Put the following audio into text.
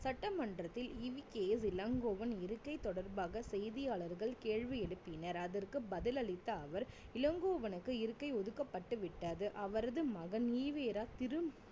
சட்டமன்றத்தில் EVKS இளங்கோவன் இருக்கை தொடர்பாக செய்தியாளர்கள் கேள்வி எழுப்பினர் அதற்கு பதிலளித்த அவர் இளங்கோவனுக்கு இருக்கை ஒதுக்கப்பட்டுவிட்டது அவரது மகன் ஈ வே ரா திரும்~